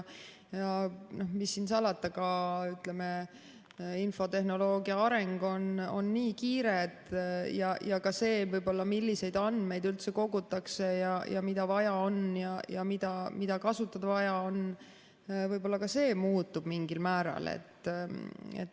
Ja mis siin salata, ka infotehnoloogia areng on nii kiire ja ka see, milliseid andmeid kogutakse, mida vaja on ja mida on vaja kasutada, võib-olla ka see muutub mingil määral.